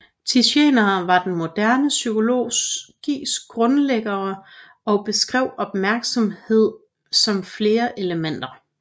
Titchener var den moderne psykologis grundlæggere og beskrev opmærksomhed som flere elementer